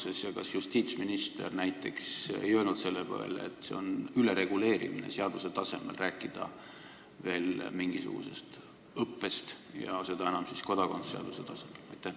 Kas näiteks justiitsminister ei öelnud selle peale, et mingisugusest õppest rääkimine on ülereguleerimine seaduse tasemel, eriti veel kodakondsuse seaduse tasemel?